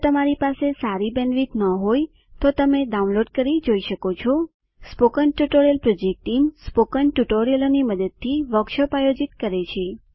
જો તમારી પાસે સારી બેન્ડવિડ્થ ન હોય તો તમે ડાઉનલોડ કરી તે જોઈ શકો છો spoken tutorial project team spoken ટ્યુટોરીયલોની મદદથી વર્કશોપ આયોજિત કરે છે